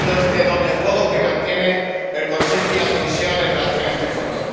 No entiendo este doble juego que mantienen el Consejo y la Comisión en relación con este Fondo.